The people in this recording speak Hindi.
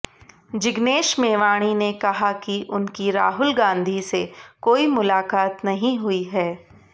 जिग्नेश मेवाणी ने कहा कि उनकी राहुल गांधी से कोई मुलाकात नहीं हुई है